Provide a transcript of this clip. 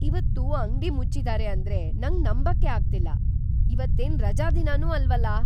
ಇವತ್ತು ಅಂಗ್ಡಿ ಮುಚ್ಚಿದಾರೆ ಅಂದ್ರೆ ನಂಗ್ ನಂಬಕ್ಕೇ ಅಗ್ತಿಲ್ಲ! ಇವತ್ತೇನ್ ರಜಾದಿನನೂ ಅಲ್ವಲ್ಲ!